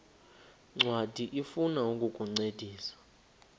ncwadi ifuna ukukuncedisa